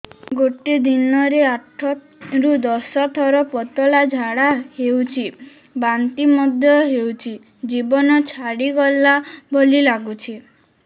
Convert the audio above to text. ଗୋଟେ ଦିନରେ ଆଠ ରୁ ଦଶ ଥର ପତଳା ଝାଡା ହେଉଛି ବାନ୍ତି ମଧ୍ୟ ହେଉଛି ଜୀବନ ଛାଡିଗଲା ଭଳି ଲଗୁଛି